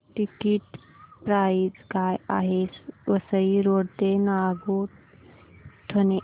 ticket price काय आहे Vasai road ते नागोठणे